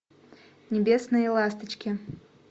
небесные ласточки